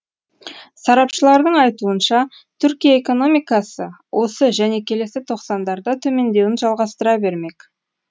сарапшылардың айтуынша түркия экономикасы осы және келесі тоқсандарда төмендеуін жалғастыра бермек